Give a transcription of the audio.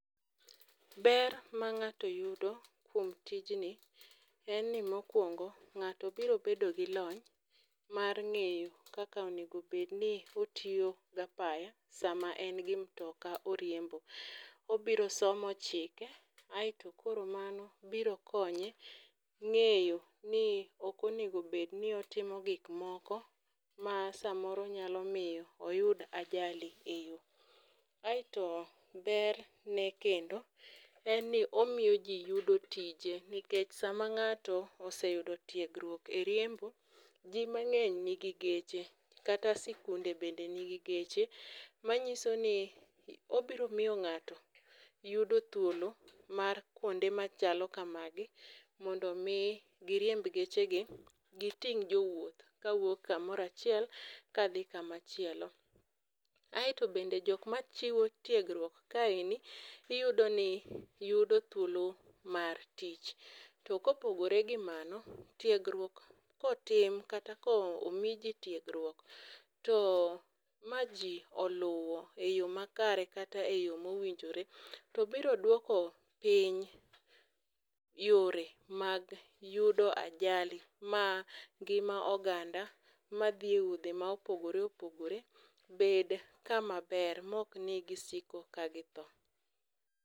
Ber ma ng'ato yudo kuom tijni en ni mokwongo, ng'ato bro bedo gi lony mar ng'eyo kaka onegobedni otiyo gapaya sama en gi mtoka oriembo. Obiro somo chike aeto koro mano biro konye ng'ayo ni okonegobedni otimo gik moko ma samoro nyalo miyo oyud ajali e yo. Aeto ber ne kendo en ni omiyo ji yudo tije, nikech sama ng'ato oseyudo tiegruok e riembo, ji mang'eny nigi geche. Kata sikunde bende nigi geche, manyiso ni obiro miyo ng'ato yudo thuolo mar kuonde machal kamagi mondo mi giriemb geche gi giting' jowuoth kawuok kamorachiel kadhi kamachielo. Aeto bende jokma chiwo tiegruok kaeni iyudo ni yudo thuolo mar tich. To kopogore gi mano, tiegruok kotim kata komiji tiegruok, to ma ji oluwo e yo makare kata e yo mowinjore. To biro dwoko piny yore mag yudo ajali ma ngima oganda ma dhi e wuodhe ma opogore opogore bed kama ber mokni gisiko ka githo.